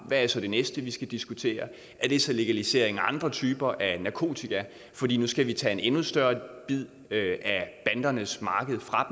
hvad er så det næste vi skal diskutere er det så legalisering af andre typer af narkotika fordi nu skal vi tage en endnu større bid af bandernes marked fra